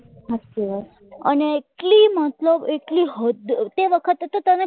અને એટલી મતલબ તે વખતે તને ખબર